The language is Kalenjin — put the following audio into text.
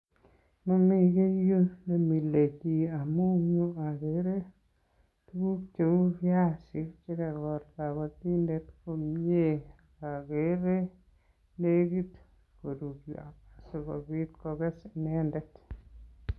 Momi kiy ireyu nemilebiik amun yu ogere tuguk cheu viazi che kagol kobotindet komyee ogere negit koruryo asikobit koges inendet.